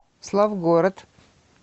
славгород